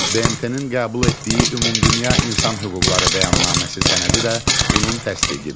BMT-nin qəbul etdiyi ümumdünya insan hüquqları bəyannaməsi sənədi də bunun təsdiqidir.